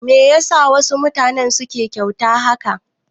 Me yasa wasu mutanen suke da wauta haka?